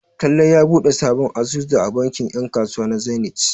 Talle ya buɗe sabon asusu a bankin 'yan kasuwa na Zenith.